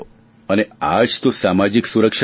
અને આજ તો સામાજિક સુરક્ષા છે